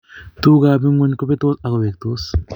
tukukab ng'weny kobetsot ak koweeksot